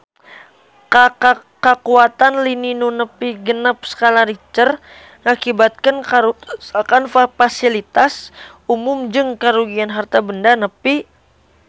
Kakuatan lini nu nepi genep skala Richter ngakibatkeun karuksakan pasilitas umum jeung karugian harta banda nepi ka 1 triliun rupiah